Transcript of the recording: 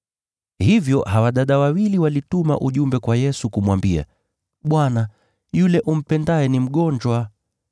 Hivyo hawa dada wawili walituma ujumbe kwa Yesu kumwambia, “Bwana, yule umpendaye ni mgonjwa.”